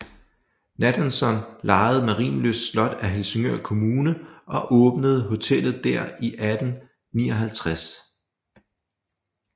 Nathanson lejede Marienlyst Slot af Helsingør Kommune og åbnede hotellet der i 1859